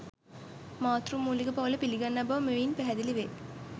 මාතෘ මූලික පවුල පිළිගන්නා බව මෙයින් පැහැදිලිවේ.